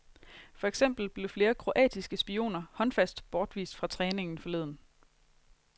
For eksempel blev flere kroatiske spioner håndfast bortvist fra træningen forleden.